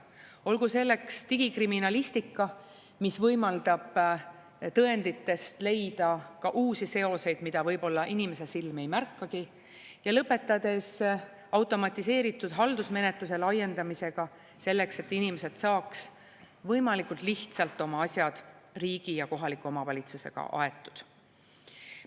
Olgu selleks digikriminalistika, mis võimaldab tõenditest leida ka uusi seoseid, mida võib-olla inimese silm ei märkagi, ja lõpetades automatiseeritud haldusmenetluse laiendamisega, selleks et inimesed saaks võimalikult lihtsalt oma asjad riigi ja kohaliku omavalitsusega aetud.